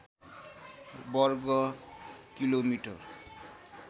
वर्ग किलोमिटर